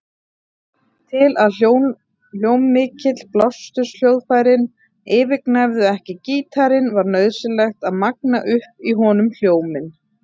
Til að hljómmikil blásturshljóðfærin yfirgnæfðu ekki gítarinn var nauðsynlegt að magna upp í honum hljóminn.